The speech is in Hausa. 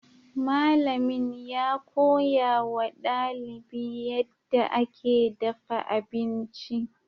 Malamin ya koya wa dalibi yadda ake dafa abinci.